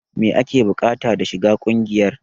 Me ake bukata da shiga kungiyar?